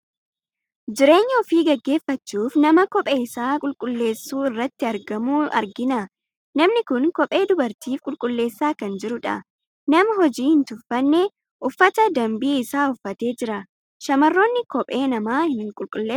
Jireenya ofii gaggeeffachuuf nama kophee isaa qulqulleessu irratti argamu argina. Namni kun kophee dubartiif qulqulleessaa kan jirudha. Nama hojii hin tuffane, uffata danbii isaa uffatee jira. Shamarroonni kophee namaa ni qulqulleessuu?